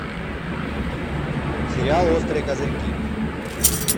сериал острые козырьки